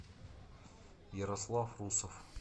ярослав русов